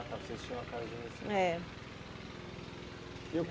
Ah, vocês tinham uma casa. É Eu